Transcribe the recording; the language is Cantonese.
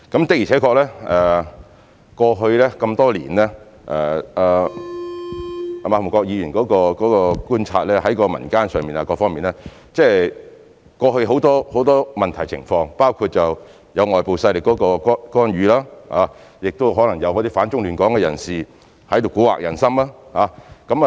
的確過去這麼多年來，正如馬逢國議員對於民間和各方面所觀察得到，過去有很多問題和情況，包括有外部勢力干預，亦可能有反中亂港的人士在這裏蠱惑人心。